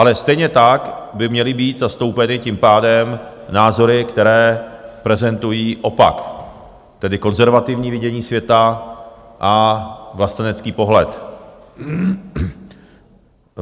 Ale stejně tak by měly být zastoupeny tím pádem názory, které prezentují opak, tedy konzervativní vidění světa a vlastenecký pohled.